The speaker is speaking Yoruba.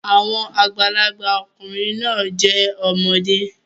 Àwọn àgbàlagbà ọkùnrin náà jẹ́ ọmọdé